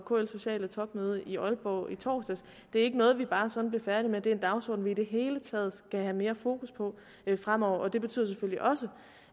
kls sociale topmøde i aalborg i torsdags det er ikke noget vi bare sådan bliver færdige med det er en dagsorden vi i det hele taget skal have mere fokus på fremover og det betyder selvfølgelig også